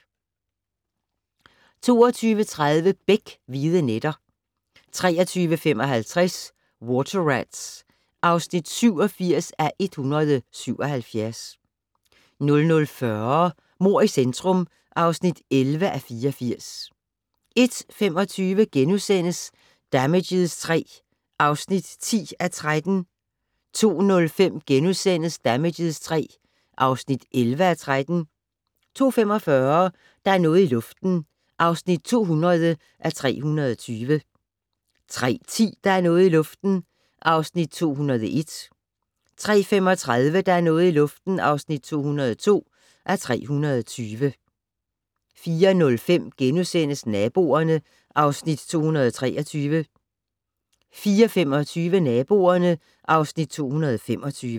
22:30: Beck: Hvide nætter 23:55: Water Rats (87:177) 00:40: Mord i centrum (11:84) 01:25: Damages III (10:13)* 02:05: Damages III (11:13)* 02:45: Der er noget i luften (200:320) 03:10: Der er noget i luften (201:320) 03:35: Der er noget i luften (202:320) 04:05: Naboerne (Afs. 223)* 04:25: Naboerne (Afs. 225)